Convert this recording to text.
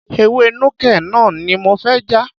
Ewé Nuke Noh ni mo fẹ́ já.